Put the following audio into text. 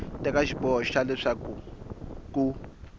teka xiboho xa leswaku ku